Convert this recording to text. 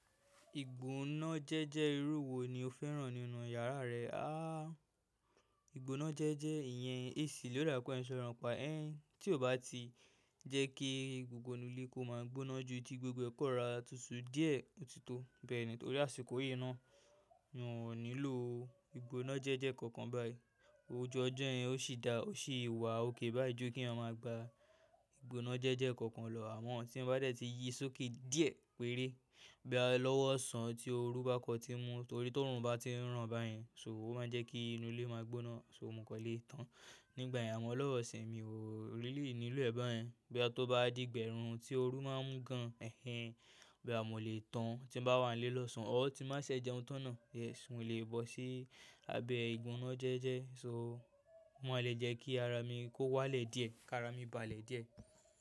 Ìgbóná jẹ́jẹ́-ẹ irú wò ni o fẹ́ràn nínú yàrá rẹ? Àà, ìgbóná jẹ́jẹ́ ìyẹn AC ló dáàpè à ń ṣọ̀rọ nìpà ẹ́, tí ò bá ti jẹ́ kí gbògbò inú ilé kó máà gbóná jù, ti gbògbò ẹ̀ kọ́ rọra tùtù díẹ̀ òtítọ́ bẹ́ẹ̀ ni. Torí àsìkò yìí náà, wọn ò nílò ìgbónájẹ́jẹ́ kankan báyìí. Òjù ọjọ́ yẹn ó sì dárà, ó sì wà ókèè báyìí ju kí ẹyàn máa gba ìgbónájẹ́jẹ́ kankan lọ. Àmọ́ tí èyàn bá dẹ̀ ti yí sókè díẹ̀ péré bòyà lọ́wọ́ ọ̀sán tí òrù bá kàn tí ń mú tòrí tí òòrùn bá ti ń ràn báyìí ṣòhò máa ń jẹ́ kí inú ilé máa gbóná ṣò mò kàn lé tán. Nígbà yẹn àmọ́ lọ́wọ́ ìsìyìn mi ò rí líì nílò ẹ̀ báyẹn. Bòyà tì ó bá di ìgbà ẹ̀rùn tí òrù máa ń mú gàn-àn ẹ́ ẹn bòyà mọ̀ lé tán tí ń bá wà nílé lọ́sàn-án. Ọ tì ń bá ṣe jẹùn tá ń náà. Yes, mo lè bọ́ sí abẹ́ ìgbónájẹ́jẹ́ ṣòò ò máa lè jẹ́ kí àrà mi kó wálẹ̀ díẹ̀ kí àrà mi bá lẹ díẹ̀.